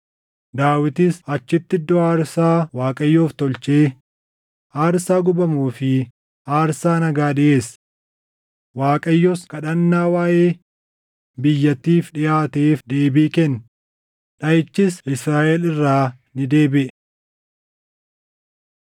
Daawitis achitti iddoo aarsaa Waaqayyoof tolchee aarsaa gubamuu fi aarsaa nagaa dhiʼeesse. Waaqayyos kadhannaa waaʼee biyyattiif dhiʼaateef deebii kenne; dhaʼichis Israaʼel irraa ni deebiʼe.